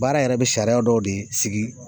Baara yɛrɛ bɛ sariya dɔw de sigi